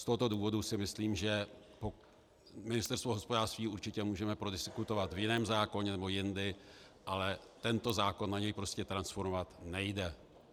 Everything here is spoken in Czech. Z tohoto důvodu si myslím, že Ministerstvo hospodářství určitě můžeme prodiskutovat v jiném zákoně nebo jindy, ale tento zákon na něj prostě transformovat nejde.